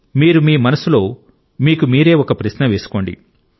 మీరు మీ మనస్సులో మీకు మీరే ఒక ప్రశ్న వేసుకోండి